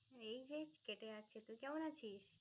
এই যে কেটে যাচ্ছে. তুই কেমন আছিস?